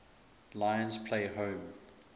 lions play home